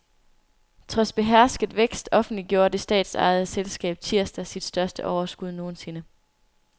Trods behersket vækst offentliggjorde det statsejede selskab tirsdag sit største overskud nogensinde.